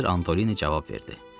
Mister Antolini cavab verdi.